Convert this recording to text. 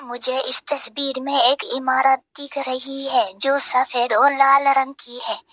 मुझे इस तस्वीर में एक इमारत दिख रही है जो सफेद और लाल रंग की है।